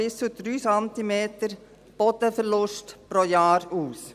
bis zu 3 Zentimeter Bodenverlust pro Jahr aus.